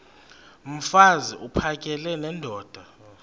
mfaz uphakele nendoda